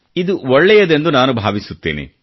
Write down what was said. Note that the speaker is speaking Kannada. ಇದು ಒಳ್ಳೆಯದೆಂದು ನಾನು ಭಾವಿಸುತ್ತೇನೆ